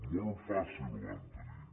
molt fàcil ho van tenir